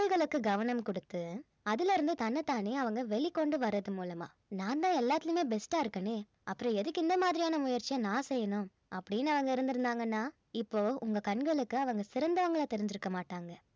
குரல்களுக்கு கவனம் குடுத்து அதில இருந்து தன்னைத்தானே அவங்க வெளிக்கொண்டு வர்றது மூலமா நான் தான் எல்லாத்துலயுமே best ஆ இருக்கனே அப்புறம் எதுக்கு இந்த மாதிரியான முயற்சியை நான் செய்யணும் அப்படின்னு அவங்க இருந்திருந்தாங்கன்னா இப்போ உங்க கண்களுக்கு அவங்க சிறந்தவங்களாக தெரிஞ்சிருக்க மாட்டாங்க